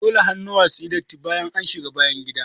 Dole hannuwa suyi datti bayan an shiga bayangida.